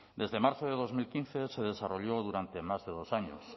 desde marzo de dos mil quince se desarrolló durante más de dos años